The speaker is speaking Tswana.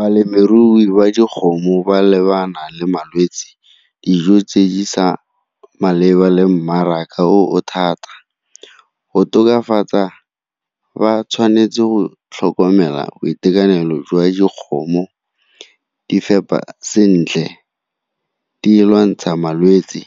Balemirui ba dikgomo ba lebana le malwetse, dijo tse di sa maleba le mmaraka o o thata. Go tokafatsa ba tshwanetse go tlhokomela boitekanelo jwa dikgomo, di fepa sentle, di lwantsha malwetse